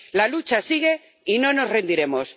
La lucha sigue y no nos rendiremos.